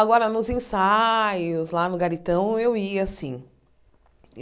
Agora, nos ensaios, lá no Garitão, eu ia, sim.